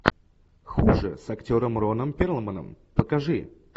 хуже с актером роном перлманом покажи